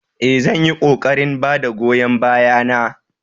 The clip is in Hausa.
Ee, zan yi ƙoƙarin ba da goyon baya na